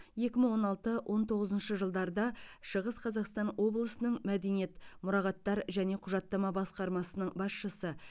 екі мың он алты он тоғызыншы жылдарда шығыс қазақстан облысының мәдениет мұрағаттар және құжаттама басқармасының басшысы